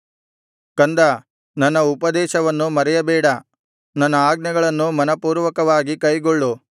ಕಂದಾ ನನ್ನ ಉಪದೇಶವನ್ನು ಮರೆಯಬೇಡ ನನ್ನ ಆಜ್ಞೆಗಳನ್ನು ಮನಃಪೂರ್ವಕವಾಗಿ ಕೈಗೊಳ್ಳು